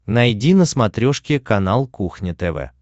найди на смотрешке канал кухня тв